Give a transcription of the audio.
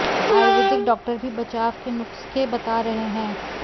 Ayurvedic doctor भी बचाव के नुस्ख़े बता रहे हैं